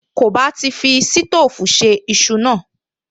Kò bá ti fi sítóòfù se iṣu náà